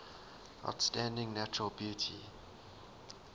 outstanding natural beauty